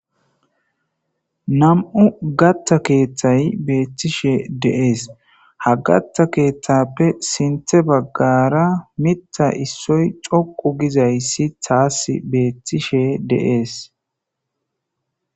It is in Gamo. Nami'u kaththa keeththay beettishe de'es. Ha kaththa keeththappe sinthe baggara mitta issoy xoqqu gizayssi taas beettishe de'es.